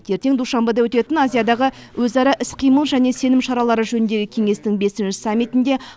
ертең душанбеде өтетін азиядағы өзара іс қимыл және сенім шаралары жөніндегі кеңестің ші саммитінде